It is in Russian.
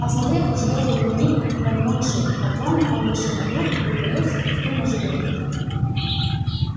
осмотрев ружье переменив подмокшие патроны он вышел на круг и притаился в кусту можжевельник